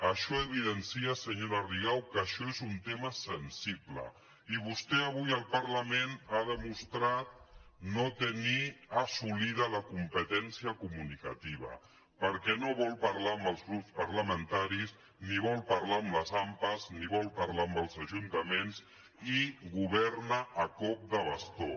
això evidencia senyora rigau que això és un tema sensible i vostè avui al parlament ha demostrat no tenir assolida la competència comunicativa perquè no vol parlar amb els grups parlamentaris ni vol parlar amb les ampa ni vol parlar amb els ajuntaments i governa a cop de bastó